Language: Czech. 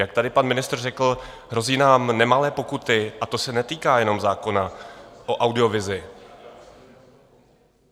Jak tady pan ministr řekl, hrozí nám nemalé pokuty a to se netýká jenom zákona o audiovizi.